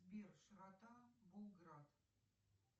сбер широта булград